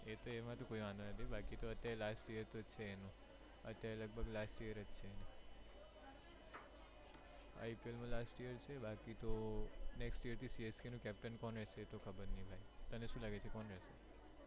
એક તો એમ હતુ બાકી તો અત્યારે last year તો છે એનુ અત્યારે લગભગ last year છે એનુ IPL last year બાકી તો next year થી CSK નુ captain કોણ રેહશે ખબર નહી ભાઈ તને શું લાગે કોણ રેહશે?